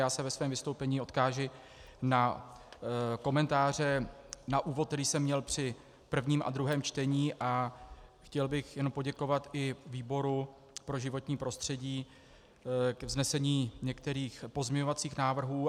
Já se ve svém vystoupení odkážu na komentáře na úvod, který jsem měl při prvním a druhém čtení, a chtěl bych jen poděkovat i výboru pro životní prostředí k vznesení některých pozměňovacích návrhů.